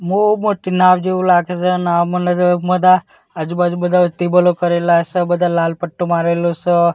બો મોટી નાવ જેવું લાગે સે નાવ બધા આજુબાજુ બધા ટેબલો કરેલા સે બધા લાલ પટ્ટો મારેલો સ.